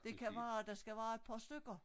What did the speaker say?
Det kan være der skal være et par stykker